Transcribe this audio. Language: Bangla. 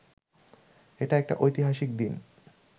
এটা একটা ঐতিহাসিক দিন